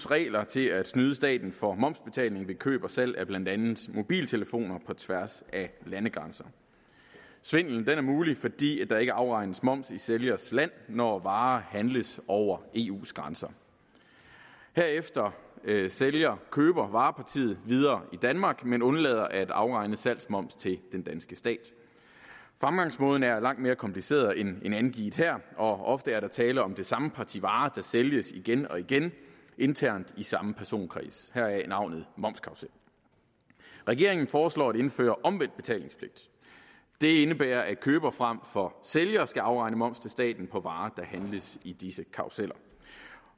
reglerne til at snyde staten for momsbetaling ved køb og salg af blandt andet mobiltelefoner på tværs af landegrænser svindlen er mulig fordi der ikke afregnes moms i sælgers land når varer handles over eus grænser herefter sælger køber varepartiet videre i danmark men undlader at afregne salgsmoms til den danske stat fremgangsmåden er langt mere kompliceret end angivet her og der ofte tale om det samme parti varer der sælges igen og igen internt i samme personkreds heraf navnet momskarrusel regeringen foreslår at indføre omvendt betalingspligt det indebærer at køber frem for sælger skal afregne moms til staten på varer der handles i disse karruseller